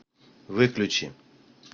выключи